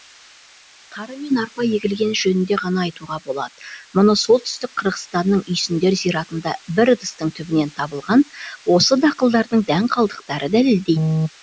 тары мен арпа егілгені жөнінде ғана айтуға болады мұны солтүстік қырғызстанның үйсіндер зиратында бір ыдыстың түбінен табылған осы дақылдардың дән калдықтары дәлелдейді